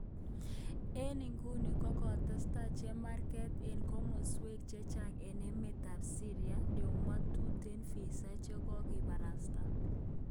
Eng iguni kokogetesentai chemarget eng komoswek chechang eng emet ab Syria ndo mo tuten visa chekokobarasta.